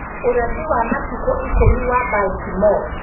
Ũrathi wa Matukũ Ikũmi wa Baltimore